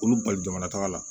Olu bali jamana taga la